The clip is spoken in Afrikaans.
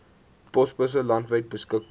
posbusse landwyd beskikbaar